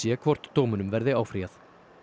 sé hvort dómunum verði áfrýjað